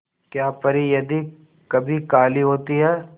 क्या परी यदि कभी काली होती है